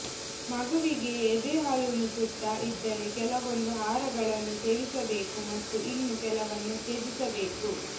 ಮಗುವಿಗೆ ಎದೆಹಾಲುಣಿಸುತ್ತಾ ಇದ್ದರೆ ಕೆಲವೊಂದು ಆಹಾರಗಳನ್ನು ಸೇವಿಸಬೇಕು ಮತ್ತು ಇನ್ನು ಕೆಲವನ್ನು ತ್ಯಜಿಸಬೇಕು